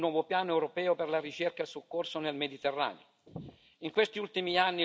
Per questo chiedo urgentemente un nuovo piano europeo per la ricerca e il soccorso nel Mediterraneo.